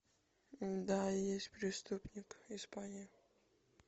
да есть преступник испания